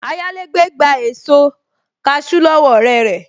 Ayálégbé gba èso kaṣú lọ́wọ́ ọ̀rẹ́ rẹ̀